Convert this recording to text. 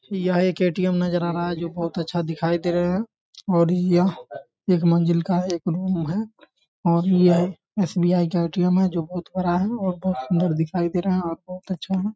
यह एक ए.टी.एम. नजर आ रहा है जो बहुत अच्छा दिखाई दे रहा है और यह एक मंजिल का एक रूम है और यह एस.बी.आई. का ए.टी.एम. है जो बहुत बड़ा है और बहुत सुन्दर दिखाई दे रहा है और बहुत अच्छा है।